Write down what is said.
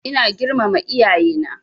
Ina girmama iyaye na